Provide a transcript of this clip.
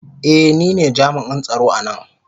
Ee, ni ne jami'in tsaro a nan.